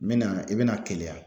N mɛna i bɛna Keleya.